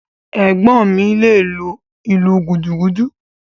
Ẹ̀gbọ́n mi le lu “ìlú gúdúgúdú”.